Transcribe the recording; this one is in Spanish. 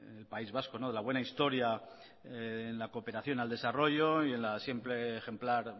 el país vasco de nuestra buena historia en la cooperación al desarrollo y en la simple ejemplar